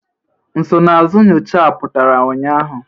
Nsonaazụ nyocha a pụtara ụnyaahụ?